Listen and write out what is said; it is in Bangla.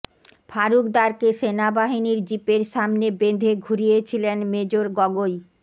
ফারুক দারকে সেনাবাহিনীর জিপের সামনে বেঁধে ঘুরিয়েছিলেন মেজর গগৈ